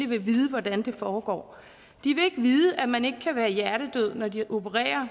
vil vide hvordan det foregår de vil ikke vide at man ikke kan være hjertedød når de opererer